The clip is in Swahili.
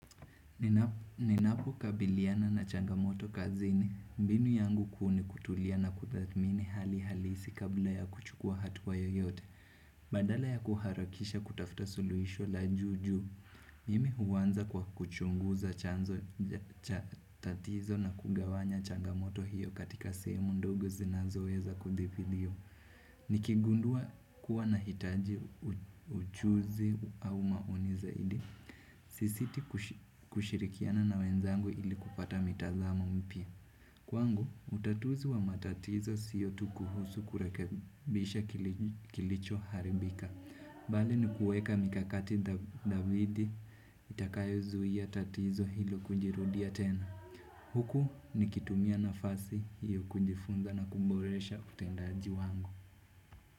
Ninapo kabiliana na changamoto kazi ni mbinu yangu kuuni kutulia na kudhamini hali halisi kabla ya kuchukua hatua yoyote Badala ya kuharakisha kutafuta suluhisho la juujuu Mimi huanza kwa kuchunguza chanzocha tatizo na kugawanya changamoto hiyo katika sehemu ndogo zinazoweza kudhibitiwa Nikigundua kuwa na hitaji ujuzi au maoni zaidi Sisiti kushirikiana na wenzangu ili kupata mitazamo mpya Kwangu utatuzi wa matatizo siyo tukuhusu kurekebisha kilicho haribika Bali ni kuweka mikakati dhabiti itakayo zuia tatizo hilo kujirudia tena Huku ni kitumia na fasi hiyo kujifunza na kuboresha utendaji wangu.